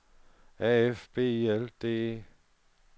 A F B I L D E